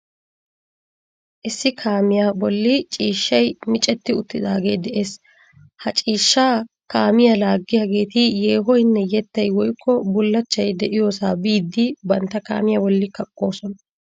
Issi kaamiyo bolli ciishshay micetti uttidaage de'ees. Ha ciishshaa kaamiya laaggiyageeti yeehoyinne yettayi woyikko bullachchayi de'iyoosa biiddi bantta kaamiya bolli kaqqoosona.